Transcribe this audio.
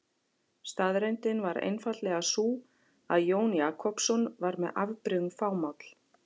Staðreyndin var einfaldlega sú að Jón Jakobsson var með afbrigðum fámáll.